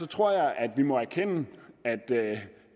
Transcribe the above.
tror jeg at vi må erkende at